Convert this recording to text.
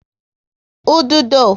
Ududo